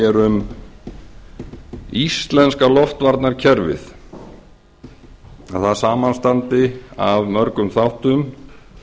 hér um íslenska loftvarna kerfið að það samanstandi af mörgum þáttum